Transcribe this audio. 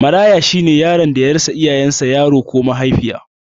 Maraya shine yaron da ya rasa iyayen sa Mahaifi ko Mahaifiya